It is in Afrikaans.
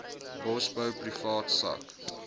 bosbou privaat sak